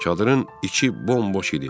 Çadırın içi bomboş idi.